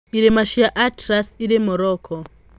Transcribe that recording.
Irĩma cia Atlas irĩ Morocco.